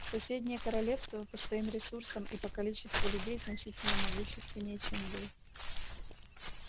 соседнее королевства по своим ресурсам и по количеству людей значительно могущественнее чем вы